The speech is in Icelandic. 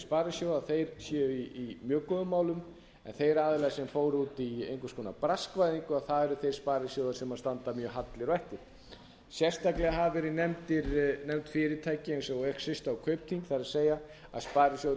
sparisjóða séu í mjög góðum málum en þeir aðilar sem fóru út í einhvers konar braskvæðingu séu þeir sparisjóðir sem standa mjög hallir eftir sérstaklega hafa verið nefnd fyrirtæki eins og exista og kaupþing það er að